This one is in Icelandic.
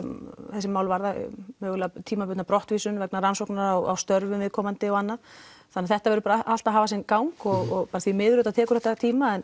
þessi mál varða mögulega tímabundna brottvísun vegna rannsókna á störfum viðkomandi og annað þannig þetta verður bara allt að hafa sinn gang og því miður þá tekur þetta tíma en